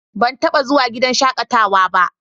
Ban taɓa zuwa gidan shaƙatawa ba.